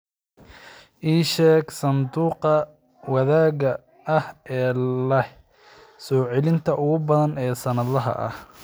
ii sheeg sanduuqa wadaagga ah ee leh soo-celinta ugu badan ee sannadlaha ah